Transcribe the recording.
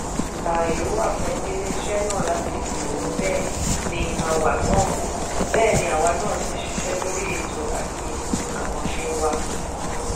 ààyè wà fún iléeṣẹ́ náà láti gbòòrò bẹ́ẹ̀ ni àwa náà sì ṣiṣẹ́ lórí ètò àti àkànṣe wa.